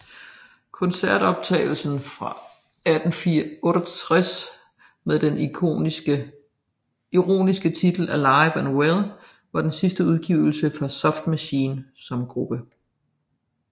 Koncertoptagelsen fra 1968 med den ironiske titel Alive and Well var den sidste udgivelse fra Soft Machine som gruppe